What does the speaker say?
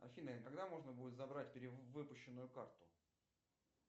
афина когда можно будет забрать перевыпущенную карту